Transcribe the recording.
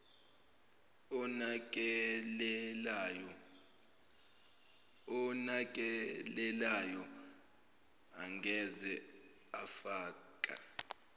onakelelayo angeze afaka